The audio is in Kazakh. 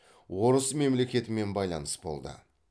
орыс мемлекетімен байланыс болды